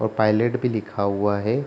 और पायलट भी लिखा हुआ है।